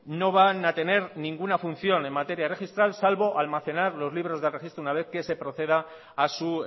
no van a tener ninguna función en materia registral salvo almacenar los libros de registro una vez que se proceda a su